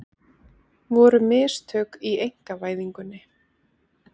Voru mistök í einkavæðingunni?